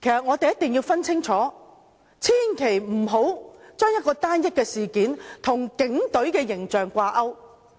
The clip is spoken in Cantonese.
我們一定要分清楚，千萬不要把單一的事件與警隊形象掛鈎。